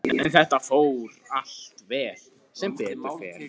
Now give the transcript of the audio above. En þetta fór allt vel, sem betur fer.